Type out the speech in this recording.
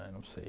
Né não sei.